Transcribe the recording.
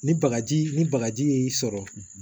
Ni bagaji ni bagaji y'i sɔrɔ